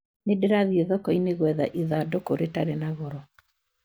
Nĩ ndĩrathiĩ thoko-inĩ gwetha ithandũkũ ritarĩ na goro